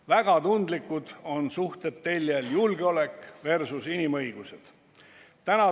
Väga tundlikud on suhted teljel "julgeolek versus inimõigused".